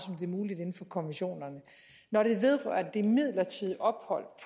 det er muligt inden for konventionerne når det vedrører det midlertidige ophold